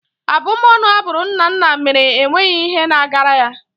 Abumọnu a bụrụ Nnanna mere enweghị ihe na-agara ya.